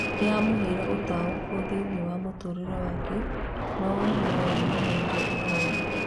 Nĩyamũheire utaũku thĩĩnĩ wa mũtũrĩrĩ wake nũ nũyamũheire ihoru